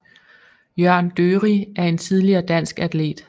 Jørn Dørig er en tidligere dansk atlet